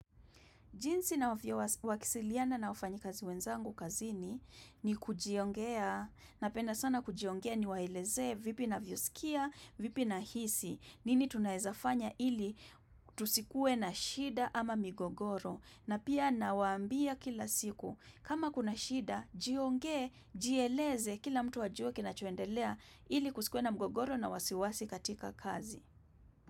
Jinsi na wakisiliana na ufanyi kazi wenzangu kazini ni kujiongea, napenda sana kujiongea ni wailezee vipi na vyo sikia, vipi na hisi, nini tunaezafanya ili tusikue na shida ama migogoro. Na pia na waambia kila siku, kama kuna shida, jionge, jieleze kila mtu wa juo kina chuendelea ili kusikue na migogoro na wasiwasi katika kazi.